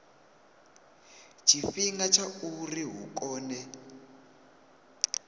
tshifhinga tsha uri hu kone